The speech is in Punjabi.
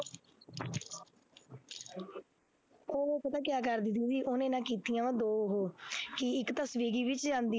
ਉਹ ਪਤਾ ਕਿਆ ਕਰਦੀ ਦੀਦੀ ਉਹਨੇ ਨਾ ਕੀਤੀਆਂ ਵਾਂ ਦੋ ਉਹ ਕਿ ਇੱਕ ਤਾਂ ਸਵਿਗੀ ਵਿੱਚ ਜਾਂਦੀ